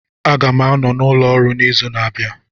Aga m anọ n'ụlọ ọrụ n'izu na-abịa